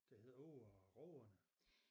Der hedder Åge og rågerne